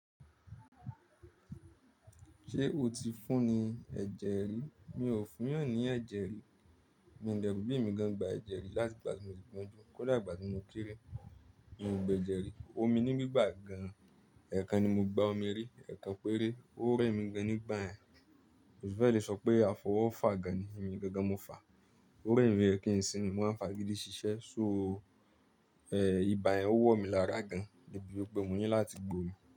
Ṣé o ti fún ní ẹ̀jẹ̀ rí? Mi ò fún yàn ní ẹ̀jẹ̀ rí. Mi ń dẹ̀ rò bóyá èmi gan gba ẹ̀jẹ̀ rí láti ìgbà tí mo ti gbọ́n jú, kó dà ìgbà tí mo kéré. Mi ò gbe ẹ̀jẹ̀ rí. Omi ni gbígbà gan. Ẹ̀ẹ̀kan ni mo gba omi rí, ẹ̀ẹ̀kan péré. Ó rẹ́ mi gan nígbà yẹn. Ó fẹ́ lè sọ pé àfọwọ́fà gan ni èmi gangan mo fà. Ó rẹ́ mi, ó yẹ kín sinmi, mo wá ń f'agídí ṣiṣẹ́. So ibà yẹn ó wọ̀ mi lára gan. Débi wípé mo ní láti gbómi.